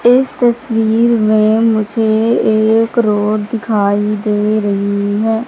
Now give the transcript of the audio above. इस तस्वीर में मुझे एक रोड दिखाई दे रही हैं।